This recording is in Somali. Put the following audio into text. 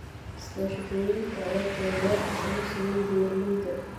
Iskaashatooyinka ayaa taageero farsamo siiya beeralayda.